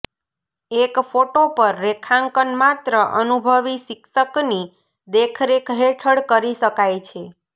એક ફોટો પર રેખાંકન માત્ર અનુભવી શિક્ષક ની દેખરેખ હેઠળ કરી શકાય છે